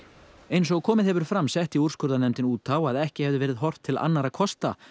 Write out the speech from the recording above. eins og komið hefur fram setti úrskurðarnefndin út á að ekki hefði verið horft til annarra kosta